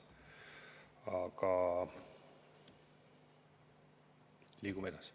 Aga liigume edasi.